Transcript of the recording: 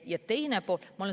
Jah.